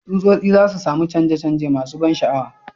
Tsutsotsi za su sami canje-canje masu ban sha'awa,